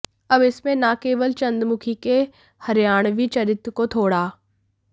अब इसमें न केवल चंद्रमुखी के हरियाणवी चरित्र को थोड़ा